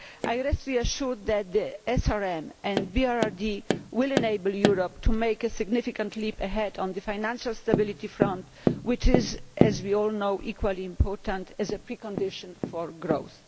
I am reassured that the SRM and BRRD will enable Europe to make a significant leap ahead on the financial stability front, which is as we all know equally important as a precondition for growth.